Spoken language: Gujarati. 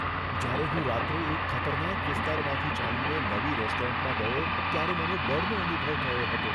જ્યારે હું રાત્રે એક ખતરનાક વિસ્તારમાંથી ચાલીને નવી રેસ્ટોરન્ટમાં ગયો ત્યારે મને ડરનો અનુભવ થયો હતો.